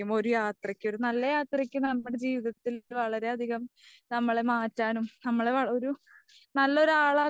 ഒരു യാത്രക്ക് ഒരു നല്ല യാത്രക്ക് നമ്മുടെ ജീവിതത്തിൽ വളരെയധികം നമ്മളെ മാറ്റാനും നമ്മളെ ഒരു നല്ലൊരളക്കാനും.